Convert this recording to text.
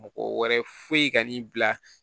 Mɔgɔ wɛrɛ foyi ka n'i bila